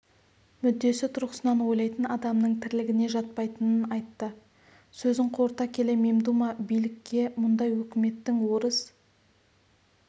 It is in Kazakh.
мүддесі тұрғысынан ойлайтын адамның тірлігіне жатпайтынын айтты сөзін қорыта келе мемдума билікке мұндай өкіметтің орыс